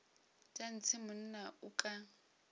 tša ntshe monna o ka